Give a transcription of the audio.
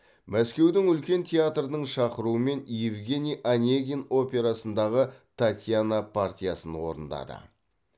мәскеудің үлкен театрының шақыруымен евгений онегин операсындағы татьяна партиясын орындады